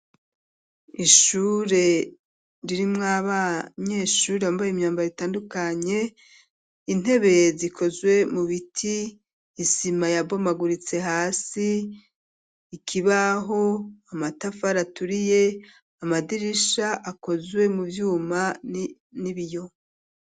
ishure ririmwo abanyeshure bambaye imyambaro itandukanye intebe zikozwe mu biti isima ya bomaguritse hasi, ikibaho, amatafar aturiye amadirisha akozwe mu byuma n'ibiyo.